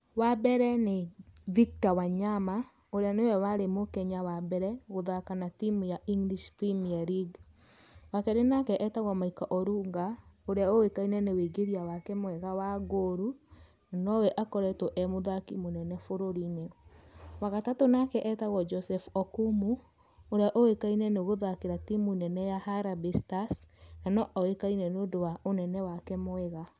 Wa mbere nĩ Victor Wanyama ũrĩa nĩwe warĩ mũkenya wa mbere gũthaka na timũ ya English Premier League. Wa keri nake etagwo Michael Orunga, ũrĩa ũĩkaine nĩ wingĩria mwega wa goal no we akoretwo e mũthaki mwega bũrũri-inĩ. Wa gatatũ nake etagwo Joseph Okumu ũrĩa ũĩkaine nĩ gũthakĩra timũ nene ya Harambee Stars na no oĩkaine ni ũndũ wa ũnene wake mwega.